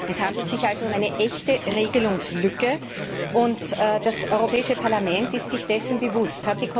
Es handelt sich also um eine echte Regelungslücke, und das Europäische Parlament ist sich dessen bewusst.